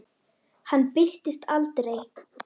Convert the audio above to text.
Önnur höndin á lofti.